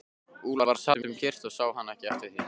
Úlfar sat um kyrrt og hann sá ekki eftir því.